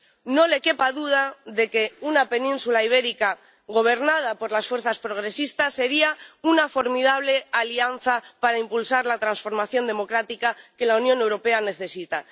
No le quepa duda de que una península ibérica gobernada por las fuerzas progresistas sería una formidable alianza para impulsar la transformación democrática que la Unión Europea necesita.